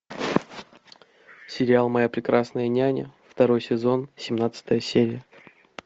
сериал моя прекрасная няня второй сезон семнадцатая серия